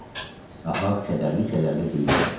Ahav kədərli-kədərli dilləndi.